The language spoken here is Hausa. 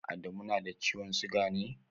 Adamu na da ciwon siga ne?